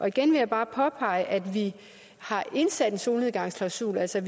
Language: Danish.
igen vil jeg bare påpege at vi har indsat en solnedgangsklausul altså